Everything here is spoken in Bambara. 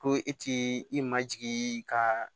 Ko e t'i i majigin ka